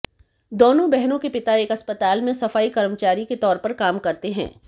दोनों बहनों के पिता एक अस्पताल में सफाई कर्मचारी के तौर पर काम करते हैं